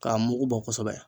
K'a mugu bɔ kosɛbɛ.